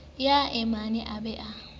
ya eommae e be e